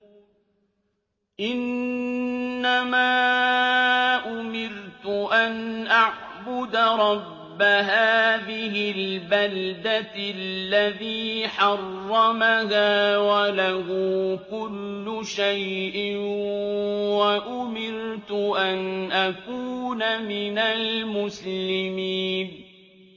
إِنَّمَا أُمِرْتُ أَنْ أَعْبُدَ رَبَّ هَٰذِهِ الْبَلْدَةِ الَّذِي حَرَّمَهَا وَلَهُ كُلُّ شَيْءٍ ۖ وَأُمِرْتُ أَنْ أَكُونَ مِنَ الْمُسْلِمِينَ